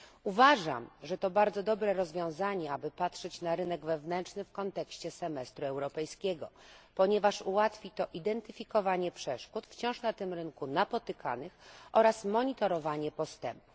Uważam, że to bardzo dobre rozwiązanie, aby patrzeć na rynek wewnętrzny w kontekście semestru europejskiego, ponieważ ułatwi to identyfikowanie przeszkód wciąż na tym rynku napotykanych oraz monitorowanie postępów.